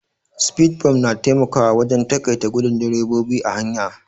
Sfidbumf na taimakawa wajen taƙaita gudun drebobi a hanya.